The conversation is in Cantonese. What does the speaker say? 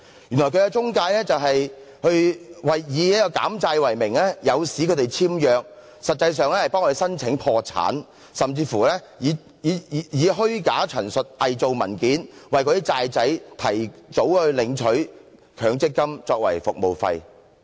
原來這些公司是以減債為名，誘使他們簽約，實際上是替他們申請破產，甚至以虛假陳述，偽造文件，為"債仔"提早領取強積金作為服務費。